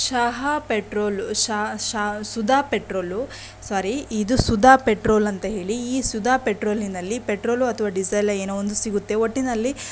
ಚಹಾ ಪೆಟ್ರೋಲು ಶಾ-ಶಾ Sudha petrol sorry ಇದು ಸುಧಾ ಪೆಟ್ರೋಲು ಅಂತ ಹೇಳಿ ಈ ಸುಧಾ ಪೆಟ್ರೋಲಿನಲ್ಲಿ ಪೆಟ್ರೋಲು ಅಥವಾ ಡೀಸೆಲ್ ಏನೋ ಒಂದು ಸಿಗುತ್ತೆ ಒಟ್ಟಿನಲ್ಲಿ --